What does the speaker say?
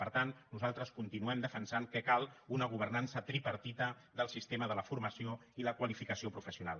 per tant nosaltres continuem defensant que cal una governança tripartida del sistema de la formació i la qualificació professional